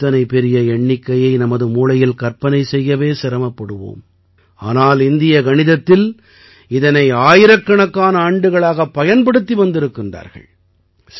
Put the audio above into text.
நாம் இத்தனை பெரிய எண்ணிக்கையை நமது மூளையில் கற்பனை செய்யவே சிரமப்படுவோம் ஆனால் இந்திய கணிதத்தில் இதனை ஆயிரக்கணக்கான ஆண்டுகளாகப் பயன்படுத்தி வந்திருக்கின்றார்கள்